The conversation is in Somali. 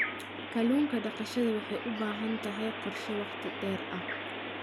Kallun daqashada waxay u baahan tahay qorshe wakhti dheer ah.